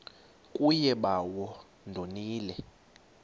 kuye bawo ndonile